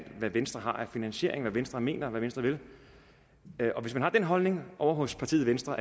hvad venstre har af finansiering hvad venstre mener og hvad venstre vil og hvis man har den holdning ovre hos partiet venstre